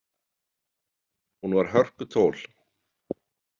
Hún var hörkutól.